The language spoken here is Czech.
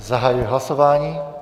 Zahajuji hlasování.